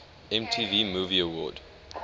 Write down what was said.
mtv movie award